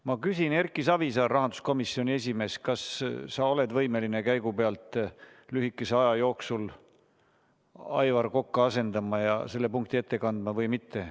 Ma küsin: Erki Savisaar, rahanduskomisjoni esimees, kas sa oled võimeline käigu pealt kiiresti Aivar Kokka asendama ja selle punkti ette kandma või mitte?